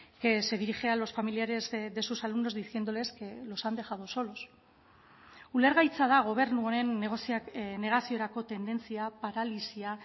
que se dirige a los familiares de sus alumnos diciéndoles que los han dejado solos ulergaitza da gobernu honen negaziorako tendentzia paralisia